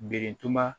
Birintuba